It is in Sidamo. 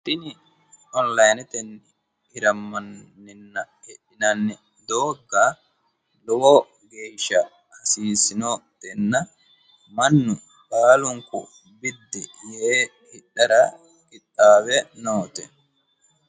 tini onilayinetenni hirammanninna hidhinanni doogga lowo geeshsha hasiissinotenna mannu baalunku biddi yee hidhara qixxaawe noote.